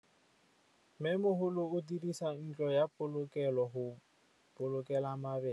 Mmêmogolô o dirisa ntlo ya polokêlô, go boloka mabele.